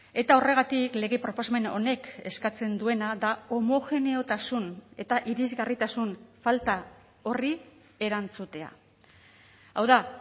eta horregatik lege proposamen honek eskatzen duena da homogeneotasun eta irisgarritasun falta horri erantzutea hau da